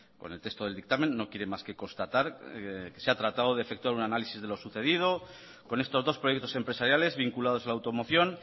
con el texto del dictamen no quiere más que constatar que se ha tratado de efectuar un análisis de lo sucedido con estos dos proyectos empresariales vinculados a la automoción